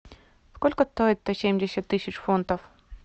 сколько стоит сто семьдесят тысяч фунтов